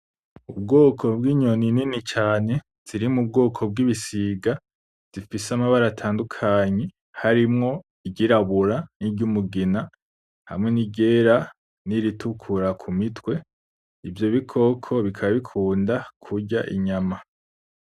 Ubwoko bwinyoni nini cane ziri mubwoko bwigisiga bifise amabara atandukanye harimwo iryirabura niryumugina hariho niryera niritukura kumitwe ivyo bikoko bikaba bikunda kurya inyama.